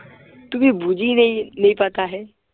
তুমি বুজি नही नहीं पता है